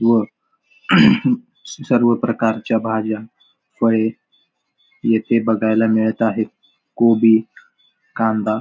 व सर्व प्रकारच्या भाज्या फळे येथे बघायला मिळत आहे गोबी कांदा --